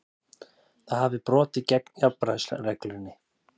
Það hafi brotið gegn jafnræðisreglunni